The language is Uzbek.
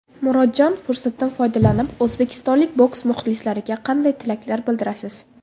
Murodjon, fursatdan foydalanib o‘zbekistonlik boks muxlislariga qanday tilaklar bildirasiz?